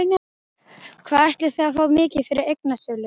Hvað ætliði að fá mikið fyrir eignasölu?